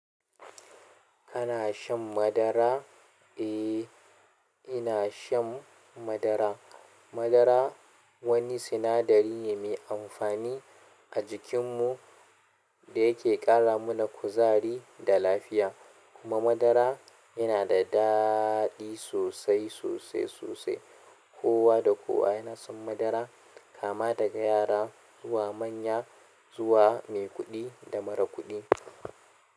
Kana shan madara? Eh, ina shan madara. Madara wani sinadari ne mai amfani a jikin mu dayake ƙara mana kuzari da lafiya kuma madara yana da daɗi sosai, sosai, sosai. Kowa da kowa yana son madara kama daga yara zuwa manya zuwa maikuɗi da marakuɗi.